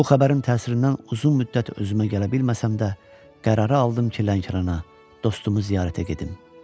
Bu xəbərin təsirindən uzun müddət özümə gələ bilməsəm də, qərarı aldım ki, Lənkərana dostu ziyarətə gedim.